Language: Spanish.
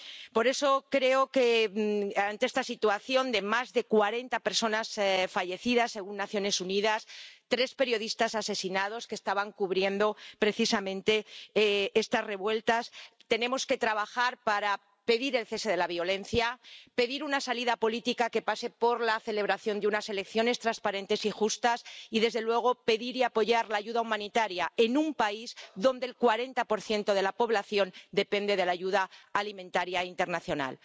Por eso creo que, ante esta situación de más de cuarenta personas fallecidas ―según las Naciones Unidas, entre ellas tres periodistas asesinados que estaban cubriendo precisamente estas revueltas—, tenemos que trabajar para pedir el cese de la violencia, pedir una salida política que pase por la celebración de unas elecciones transparentes y justas y, desde luego, pedir y apoyar la ayuda humanitaria en un país en el que el 40 de la población depende de la ayuda alimentaria internacional.